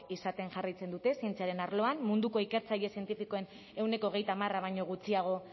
izaten jarraitzen dute zientziaren arloan munduko ikertzaile zientifiko ehuneko hogeita hamar baino gutxiago